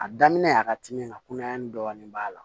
A daminɛ a ka timi ka kunnayani dɔɔnin b'a la